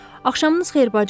Axşamınız xeyir bacı!